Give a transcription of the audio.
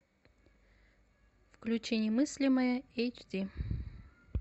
включи немыслимое эйч ди